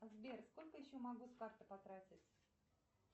сбер сколько еще могу с карты потратить